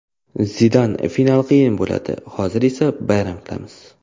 Zidan: Final qiyin bo‘ladi, hozir esa bayram qilamiz.